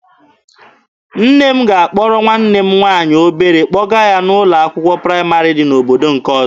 Nne m ga-akpọrọ nwanne m nwaanyị obere kpọga n'ụlọ akwụkwọ praịmarị dị n'obodo nke ọzọ.